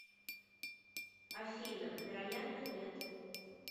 афина вероятно нет